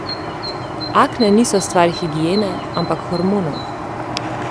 Akne niso stvar higiene, ampak hormonov.